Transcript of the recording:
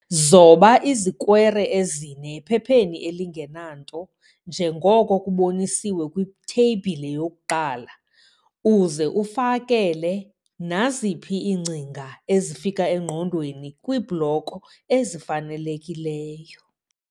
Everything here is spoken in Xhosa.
Zoba izikwere ezine ephepheni elingenanto njengoko kuboniswe kwiTheyibhile 1 uze ufakele naziphi iingcinga ezifika engqondweni kwiibloko ezifanelekileyo.